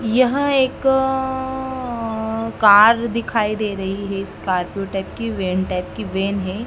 यह एक अ अ कार दिखाई दे रही है स्कॉर्पियो टाइप की वैन टाइप की वैन है।